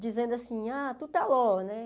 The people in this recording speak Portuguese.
dizendo assim, ah, tu está lo, né?